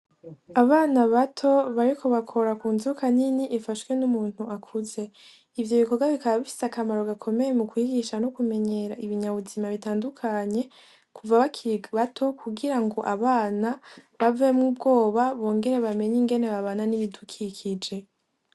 Abana bato bariko bakora ku nzoka nini ifashwe n' umuntu akuze, ivyo bikogwa bikaba bifise akamaro gakomeye mu kwigisha no kumenyera ibinyabuzima bitandukanye kuva bakiri bato kugira ngo abana bavemwo ubwoba bongere bamenye ingene babana n' ibidukikije.